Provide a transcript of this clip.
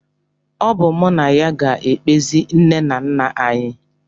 Ọ bụ mụ na ya ga-ekpezi nne na nna anyị